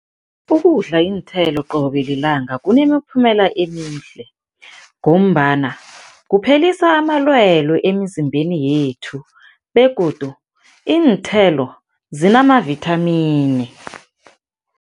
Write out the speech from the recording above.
Ukudla iinthelo qobe lilanga kunemiphumela emihle ngombana kuphelisa amalwele emizimbeni yethu begodu iinthelo zinamavithamini.